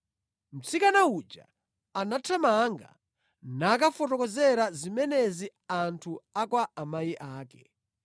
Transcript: Mtsikana uja anathamanga nakafotokozera zimenezi anthu a kwa amayi ake.